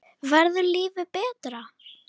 Verður lífið betra?